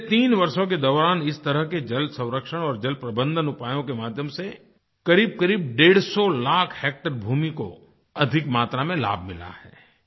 पिछले तीन वर्षों के दौरान इस तरह के जलसंरक्षण और जलप्रबंधन उपायों के माध्यम से क़रीबक़रीब 150 लाख हैक्टेयर भूमि को अधिक मात्रा में लाभ मिला है